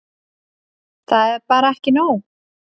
Það er bara ekki nóg.